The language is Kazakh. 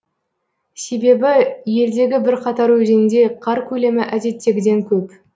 себебі елдегі бірқатар өзенде қар көлемі әдеттегіден көп